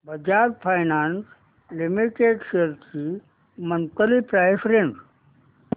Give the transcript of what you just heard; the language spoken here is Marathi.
बजाज फायनान्स लिमिटेड शेअर्स ची मंथली प्राइस रेंज